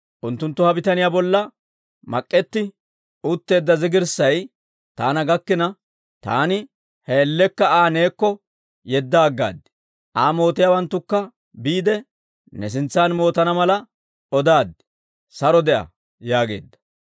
Unttunttu ha bitaniyaa bolla mak'k'etti utteedda zigirissay taana gakkina, taani he man''iyaan Aa neekko yedda aggaad; Aa mootiyaawanttukka biide, ne sintsan mootana mala odaaddi; saro de'a» yaageedda.